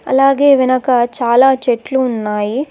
అలాగే వెనక చాలా చెట్లు ఉన్నాయి.